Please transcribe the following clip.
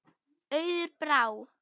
Auður Brá.